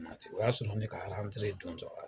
O y'a sɔrɔ ne ka don tɔ la